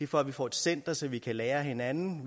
for at vi får et center så vi kan lære af hinanden